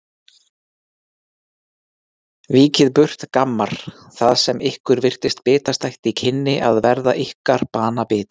Víkið burt gammar, það sem ykkur virtist bitastætt í kynni að verða ykkar banabiti.